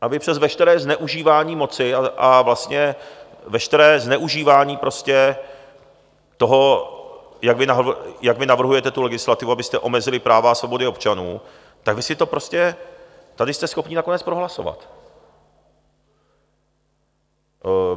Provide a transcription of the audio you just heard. A vy přes veškeré zneužívání moci a veškeré zneužívání toho, jak vy navrhujete tu legislativu, abyste omezili práva a svobody občanů, tak vy si to prostě tady jste schopni nakonec prohlasovat.